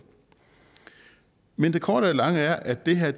men det korte af det lange er at det her